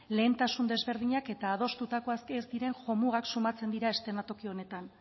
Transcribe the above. lehentasun desberdinak eta adostutakoak ez diren jomugak sumatzen diren eszenatoki honetan